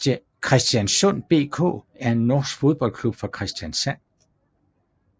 Kristiansund BK er en norsk fodboldklub fra Kristiansund